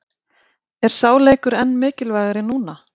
Er sá leikur enn mikilvægari núna?